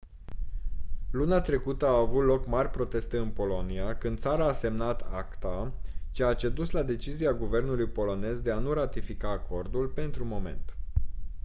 luna trecută au avut loc mari proteste în polonia când țara a semnat acta ceea ce a dus la decizia guvernului polonez de a nu ratifica acordul pentru moment